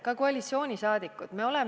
Ka koalitsioonisaadikud!